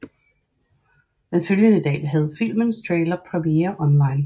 Den følgende dag havde filmens trailer premiere online